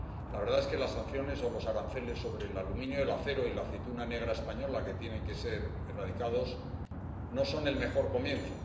La verdad es que las sanciones o los aranceles sobre el aluminio, el acero y la aceituna negra española que tienen que ser erradicados no son el mejor comienzo.